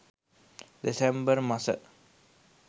දෙසැම්බර් මස